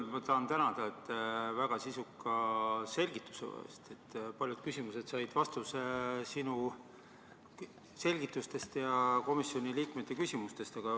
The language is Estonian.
Kõigepealt ma tahan tänada väga sisuka selgituse eest, paljud küsimused said sinu selgitustest ja komisjoni liikmete küsimustest vastuse.